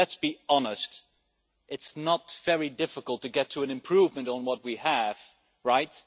Though let's be honest it is not very difficult to get an improvement on what we have, right?